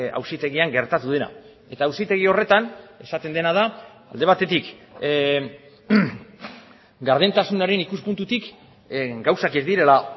auzitegian gertatu dena eta auzitegi horretan esaten dena da alde batetik gardentasunaren ikuspuntutik gauzak ez direla